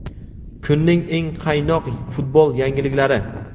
Kunning eng qaynoq futbol yangiliklari:.